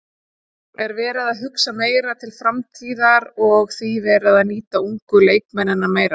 Er verið að hugsa meira til framtíðar og því verið að nýta ungu leikmennina meira?